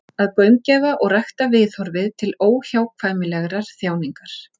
Að gaumgæfa og rækta viðhorfið til óhjákvæmilegrar þjáningar.